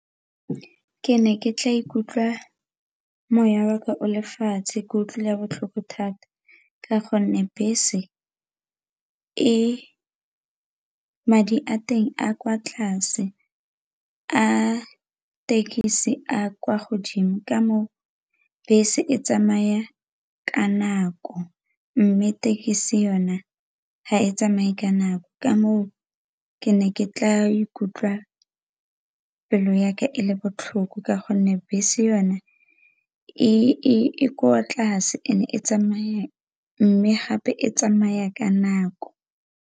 Ke ne ke tla ikutlwa moya waka o lefatshe ke utlwile botlhoko thata ka gonne bese madi a teng a kwa tlase, a thekisi a kwa godimo ka moo bese e tsamaya ka nako mme thekisi yone ga e tsamaye ka nako ka moo ke ne ke tla ikutlwa pelo yaka e le botlhoko ka gonne bese yone e kwa tlase mme gape e tsamaya ka nako.